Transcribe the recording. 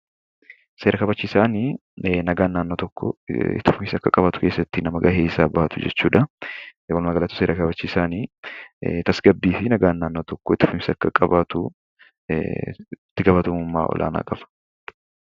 Seera kabachiisaan nagaan naannoo tokkoo itti fufiinsa akka qabaatu keessatti nama gahee isaa bahatu jechuudha. Walumaagalatti seera kabachiisaani tasgabbii fi nagaan naannoo tokkoo itti fufiinsa akka qabaatuuf itti gaafatamummaa olaanaa qaba.